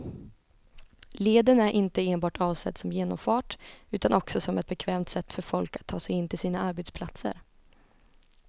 Leden är inte enbart avsedd som genomfart utan också som ett bekvämt sätt för folk att ta sig in till sina arbetsplatser.